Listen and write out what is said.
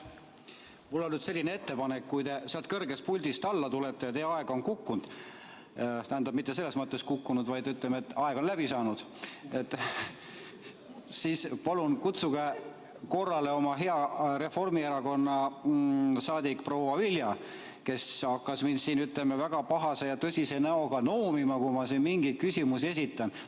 Mul on teile selline ettepanek: kui te sealt kõrgest puldist alla tulete ja teie aeg on kukkunud – tähendab, mitte selles mõttes kukkunud, vaid, ütleme, aeg on läbi saanud –, siis palun kutsuge korrale oma Reformierakonna liige hea proua Vilja, kes hakkab mind siin väga pahase ja tõsise näoga noomima, kui ma mingeid küsimusi esitan.